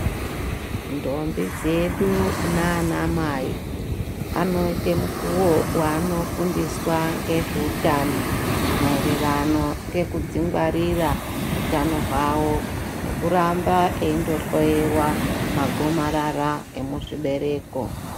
Ndombi dzedu naanamai anoite mukuwo waanofundiswa ngezveutano maererano ngekudzingwarira utano hwavo nekuramba eindohloyewa magomarara emuzvibereko.